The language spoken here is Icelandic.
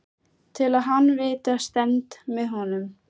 Til að hann viti að ég stend með honum.